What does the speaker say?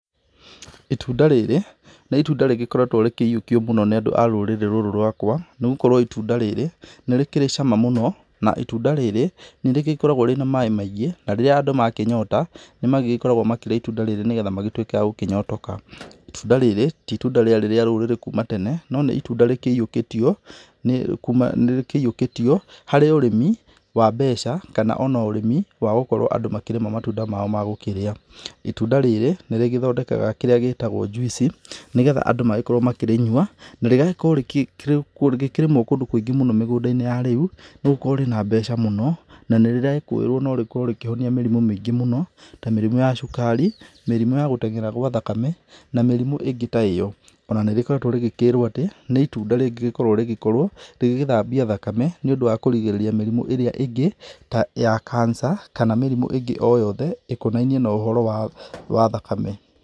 itunda rĩrĩ, nĩ itunda rĩgĩkoretwo rĩkĩyuokio mũno nĩ andũ a rũrĩrĩ rũrũ rwakwa, nĩ gũkorwo itunda rĩrĩ, nĩ rĩkĩrĩ cama mũno, na itunda rĩrĩ nĩ rĩgĩkoragwo rĩna maaĩ maingĩ, na rĩrĩa andũ makĩnyota, nĩ magĩgĩkoragwo magĩkĩria itunda rĩrĩ nĩ getha magĩtwĩke agokĩyotoka, itunda rĩrĩ, ti itunda rĩarĩ rĩ rũrĩrĩ kũma tene ,no nĩ itunda rĩkĩyukĩtio nĩ kuma nĩ rĩkĩiyukĩtio harĩ ũrĩmi wa mbeca, kana ona ũrĩmi wa gũkorwo andũ makĩrĩma matunda mao ma gũkĩria, itũnda rĩrĩ nĩ rĩ gĩthondekaga kĩria gĩgĩtagwo njuici, nĩ getha andũ magĩkorwo ma kĩrĩnyua na rĩgagĩkorwo rĩkĩrĩmwo kũndũ kwĩingĩ mũno mĩgũnda - inĩ ya rĩu, nĩ gũkorwo rĩna mbeca mũno, na nĩ rĩrekoĩrwo no rĩkorwo rĩkĩhonia mĩrimũ maingĩ mũno, ta mĩrimũ ya cukari, mĩrimũ ya gũtengera gwa thakame, na mĩrimũ ĩngĩ ta ĩyo, ona nĩ rĩgĩkoretwo rĩgĩkĩrwo atĩ nĩ itunda rĩngĩgĩkorwo rĩgĩkorwo rĩgĩgĩthambia thakame nĩ ũndũ wa kũrigĩrĩria mĩrimũ ĩrĩa angĩ ta ya kansa, kana mĩrimũ ĩngĩ o yothe ĩkonanie na ũhoro wa thakame